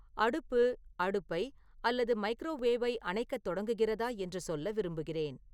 அடுப்பு அடுப்பை அல்லது மைக்ரோவேவை அணைக்கத் தொடங்குகிறதா என்று சொல்ல விரும்புகிறேன்